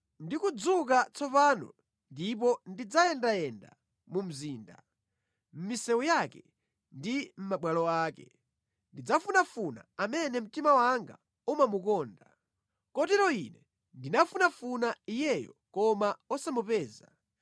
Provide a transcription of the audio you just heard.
Ndikudzuka tsopano ndipo ndidzayendayenda mu mzinda, mʼmisewu yake ndi mʼmabwalo ake; ndidzamufunafuna amene mtima wanga umamukonda. Kotero ine ndinamufunafuna iyeyo koma osamupeza.